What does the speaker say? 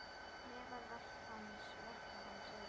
Meðal verka hans eru